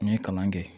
N ye kalan kɛ